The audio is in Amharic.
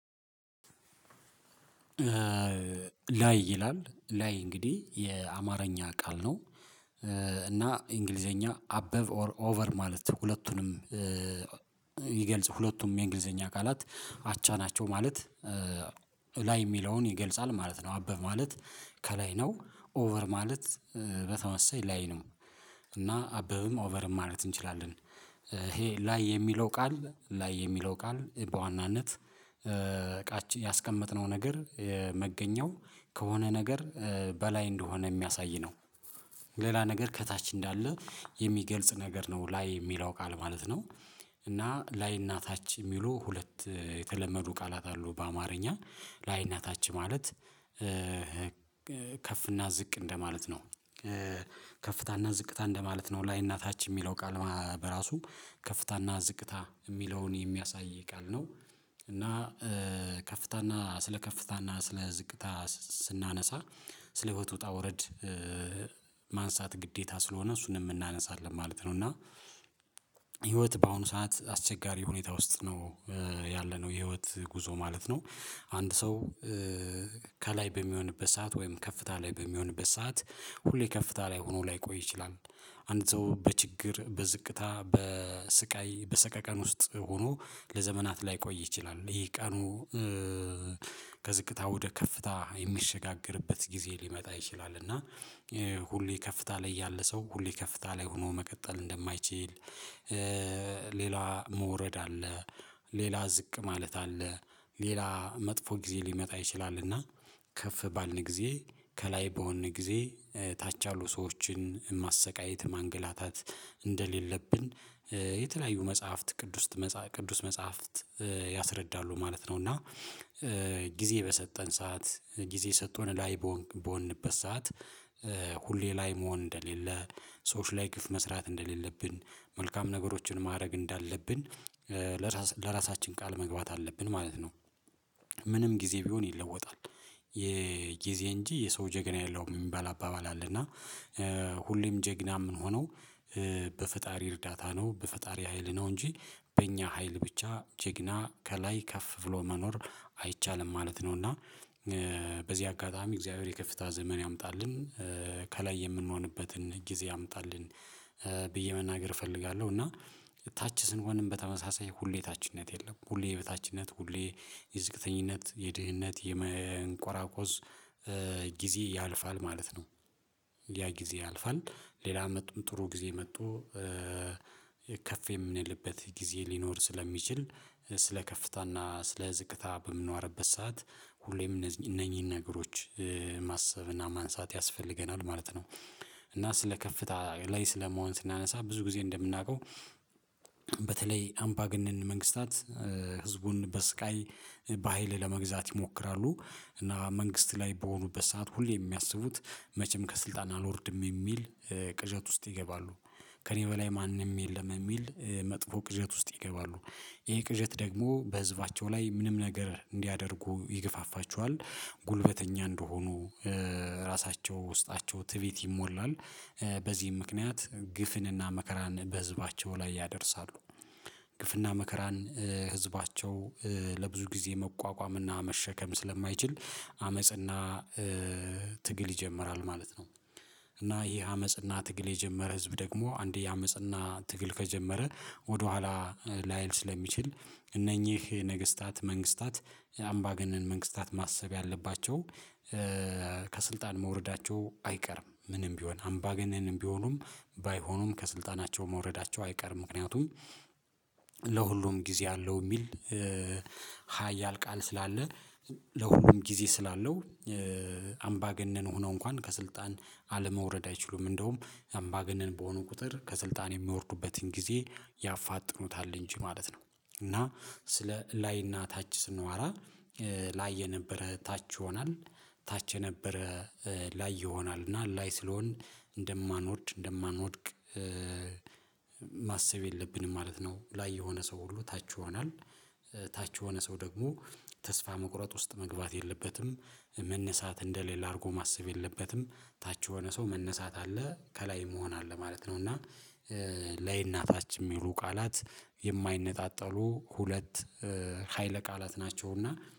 ላይ ይላል ላይ እንግዲህ የአማርኛ ቃል ነው። እና እንግሊዘኛ አበቭ ኦቨር ማለት ሁለቱንም ይገልጽ ሁለቱም የእንግሊዘኛ ቃላት አቻ ናቸው። ማለት ላይ የሚለውን ይገልጻል ማለት ነው። አበቭ ማለት ከላይ ነው። ኦቨር ማለት በተመሳሳይ ላይ ነው። እና አበቭም ኦቨርም ማለት እንችላለን። ይሄ ላይ የሚለው ቃል ላይ የሚለው ቃል በዋናነት ያስቀመጥነው ነገር መገኛው ከሆነ ነገር በላይ እንደሆነ የሚያሳይ ነው። ሌላ ነገር ከታች እንዳለ የሚገልጽ ነገር ነው። ላይ የሚለው ቃለ ማለት ነው። እና ላይና ታች የሚሉ ሁለት የተለመዱ ቃላት አሉ በአማርኛ ላይና ታች ማለት። ዝቅ እንደማለት ነው። ከፍታና ዝቅታ እንደማለት ነው ላይና ታች የሚለው ቃል ማ በራሱ ከፍታና ዝቅታ የሚለውን የሚያሳይ ቃል ነው። እና ከፍታና ስለ ከፍታና ስለ ዝቅታ ስናነሳ ስለ ህይወት ውጣ ውረድ ማንሳት ግዴታ ስለሆነ እሱንም እናነሳለን ማለት ነው። እና ህይወት በአሁኑ ሰዓት አስቸጋሪ ሁኔታ ውስጥ ነው። ያለነው የህይወት ጉዞ ማለት ነው። አንድ ሰው ከላይ በሚሆንበት ሰዓት ወይም ከፍታ ላይ በሚሆንበት ሰዓት ሁሌ ከፍታ ላይ ሆኖ ላይቆይ ይችላል። አንድ ሰው በችግር በዝቅታ በስቃይ በሰቀቀን ውስጥ ሆኖ ለዘመናት ላይቆይ ይችላል። ይሄ ቀኑ ከዝቅታ ወደ ከፍታ የሚሸጋገርበት ጊዜ ሊመጣ ይችላል። እና ሁሌ ከፍታ ላይ ያለ ሰው ሁሌ ከፍታ ላይ ሆኖ መቀጠል እንደማይችል። ሌላ መውረድ አለ። ሌላ ዝቅ ማለት አለ። ሌላ መጥፎ ጊዜ ሊመጣ ይችላልና። ከፍ ባልን ጊዜ ከላይ በሆንን ጊዜ ታች ያሉ ሰዎችን ማሰቃየት ማንገላታት እንደሌለብን። የተለያዩ መጽሐፍት ቅዱስት ቅዱስ መጽሐፍት ያስረዳሉ ማለት ነው። እና ጊዜ በሰጠን ሰዓት ጊዜ ሰጥቶን ላይ በሆንክ በሆንበት ሰዓት ሁሌ ላይ መሆን እንደሌለ። ሰዎች ላይ ግፍ መስራት እንደሌለብን መልካም ነገሮችን ማድረግ እንዳለብን ለራስ ለራሳችን ቃል መግባት አለብን ማለት ነው። ምንም ጊዜ ቢሆን ይለወጣል። የጊዜ እንጂ የሰው ጀግና የለውም የሚባል አባባል አለ። እና ሁሌም ጀግና የምንሆነው በፈጣሪ እርዳታ ነው በፈጣሪ ሀይል ነው እንጂ በእኛ ሀይል ብቻ ጀግና ከላይ ከፍ ብሎ መኖር አይቻልም ማለት ነው። እና በዚህ አጋጣሚ እግዚአብሔር የከፍታ ዘመን ያምጣልን። ከላይ የምንሆንበትን ጊዜ ያምጣልን። ብዬ መናገር እፈልጋለሁ። እና ታች ስንሆንም በተመሳሳይ ሁሌ ታችነት የለም ሁሌ የበታችነት ሁሌ የዝቅተኝነት የድህነት የመንቆራቆስ ጊዜ ያልፋል ማለት ነው። ያ ጊዜ ያልፋል። ሌላ አመትም ጥሩ ጊዜ መጦ ከፍ የምንልበት ጊዜ ሊኖር ስለሚችል። ስለ ከፍታና ስለ ዝቅታ በምናወራበት ሰዓት ሁሌም እነዚህን እነኚህን ነገሮች ማሰብ እና ማንሳት ያስፈልገናል ማለት ነው። እና ስለ ከፍታ ላይ ስለመሆን ስናነሳ ብዙ ጊዜ እንደምናውቀው። በተለይ አምባገነን መንግስታት ህዝቡን በስቃይ በሃይል ለመግዛት ይሞክራሉ። እና መንግስት ላይ በሆኑበት ሰዓት ሁሌም የሚያስቡት መቼም ከስልጣን አልወርድም የሚል ቅዠት ውስጥ ይገባሉ። ከእኔ በላይ ማንም የለም የሚል መጥፎ ቅዠት ውስጥ ይገባሉ። ይሄ ቅዠት ደግሞ በህዝባቸው ላይ ምንም ነገር እንዲያደርጉ ይገፋፋቸዋል። ጉልበተኛ እንደሆኑ ራሳቸው ውስጣቸው ትዕቢት ይሞላል። በዚህም ምክንያት ግፍንና መከራን በህዝባቸው ላይ ያደርሳሉ። ግፍና መከራን ህዝባቸው ለብዙ ጊዜ መቋቋም እና መሸከም ስለማይችል አመጽና ትግል ይጀምራል ማለት ነው። እና ይሄ አመጽና ትግል የጀመረ ህዝብ ደግሞ አንዴ አመጽና ትግል ከጀመረ ወደ ኋላ ላይል ስለሚችል። እነኚህ ነገስታት መንግስታት አምባገነን መንግስታት ማሰብ ያለባቸው። ከስልጣን መውረዳቸው አይቀርም ምንም ቢሆን አምባገነንም ቢሆኑም ባይሆኑም ከስልጣናቸው መውረዳቸው አይቀርም። ምክንያቱም ለሁሉም ጊዜ አለው የሚል ሀያል ቃል ስላለ። ለሁሉም ጊዜ ስላለው። አምባገነን ሆነው እንኳን ከስልጣን አለመውረድ አይችሉም እንደውም አምባገነን በሆነ ቁጥር ከስልጣን የሚወርዱበትን ጊዜ ያፋጥኑታል እንጂ ማለት ነው። እና ስለ ላይና ታች ስናወራ ላይ የነበረ ታች ይሆናል። ታች የነበረ ላይ ይሆናል እና ላይ ስለሆንን እንደማንወርድ እንደማንወድቅ። ማሰብ የለብንም ማለት ነው። ላይ የሆነ ሰው ሁሉ ታች ይሆናል። ታች የሆነ ሰው ደግሞ ተስፋ መቁረጥ ውስጥ መግባት የለበትም። መነሳት እንደሌለ አድርጎ ማሰብ የለበትም። ታች የሆነ ሰው መነሳት አለ ከላይ መሆን አለ ማለት ነው። እና ላይና ታች የሚሉ ቃላት የማይነጣጠሉ ሁለት ሀይለ ቃላት ናቸው። እና